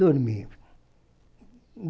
Dormi.